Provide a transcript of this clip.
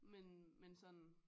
Men men sådan